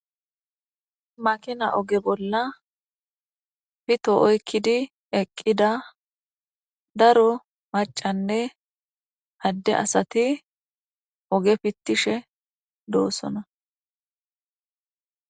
makina oge bolla pito oykkidi eqqida daro macanne hadde asati oge pittishe doosona